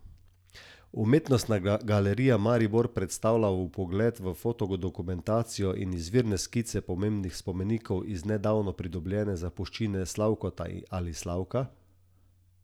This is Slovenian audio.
Umetnostna galerija Maribor predstavlja vpogled v fotodokumentacijo in izvirne skice pomembnih spomenikov iz nedavno pridobljene zapuščine Slavkota ali Slavka?